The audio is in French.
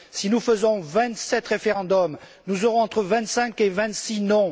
Si nous faisons vingt sept référendums, nous aurons entre vingt cinq et vingt six non.